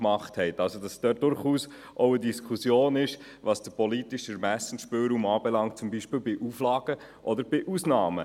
Das heisst, es gibt durchaus eine Diskussion darüber, was den politischen Ermessensspielraum betrifft, zum Beispiel bei Auflagen oder Ausnahmen.